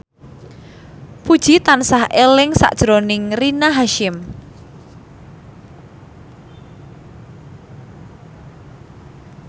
Puji tansah eling sakjroning Rina Hasyim